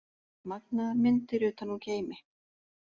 Magnaðar myndir utan úr geimi